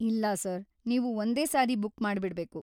ಇಲ್ಲ ಸರ್‌, ನೀವು ಒಂದೇ ಸಾರಿ ಬುಕ್‌ ಮಾಡ್ಬಿಡ್ಬೇಕು.